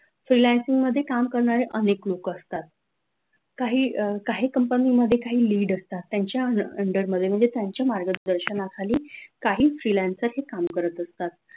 freelancing मध्ये काम करणारे अनेक लोक असतात काही काही company मध्ये काही lead असतात त्यांच्या under मध्ये म्हणजे त्यांच्या मार्गदर्शनाखाली काही freelancer हे काम करत असतात.